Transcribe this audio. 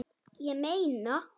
Ég meina.